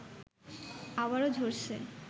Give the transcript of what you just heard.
আবারও ঝরছে